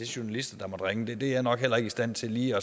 journalist som ringede er jeg nok heller ikke i stand til lige